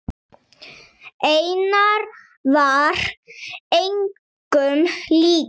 Einar var engum líkur.